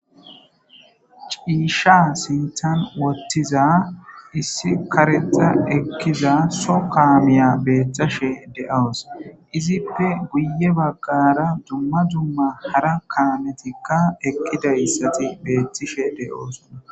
Ciisha siitan wottiza issi karexa ekkiza so kaamiya beeththashe de7oos izippe guye baggara dumma dumma hara kaametikka ekkidayssati beethtishe de7ooson.